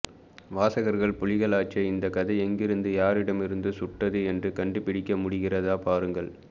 வாசகர்கள்புலிகளாச்சே இந்த கதை எங்கிருந்து யாரிடமிருந்து சுட்டது என்று கண்டு பிடிக்க முடிகிறதா பாருங்கள்